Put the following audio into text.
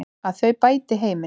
Að þau bæti heiminn.